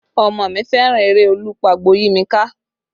Omo mi fẹ́ràn eré Olú pagbo yí mi ká